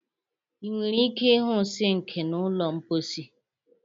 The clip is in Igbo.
Ị nwere ike ịhụ sink na ụlọ mposi.